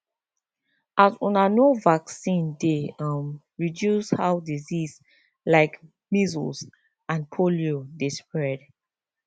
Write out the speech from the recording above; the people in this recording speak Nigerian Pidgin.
as una know vaccine dey um reduce how disease like measles and polio dey spread